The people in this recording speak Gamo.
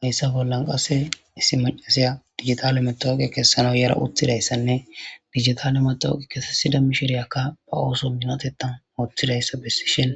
Hayisa bolla qassika issi macasiya digital mawoqiya kesanawu yadda utidayisanne digital mawoqiya kesisida asiyaka ba osso miinotethan othidayisa besishini